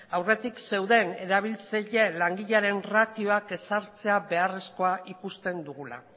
aurretik zeuden erabiltzaile langileren ratioak ezartzea beharrezkoa ikusten dugula